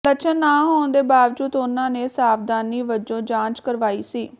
ਲੱਛਣ ਨਾ ਹੋਣ ਦੇ ਬਾਵਜੂਦ ਉਨ੍ਹਾਂ ਨੇ ਸਾਵਧਾਨੀ ਵਜੋਂ ਜਾਂਚ ਕਰਵਾਈ ਸੀ